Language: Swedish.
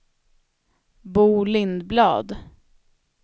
Bo Lindblad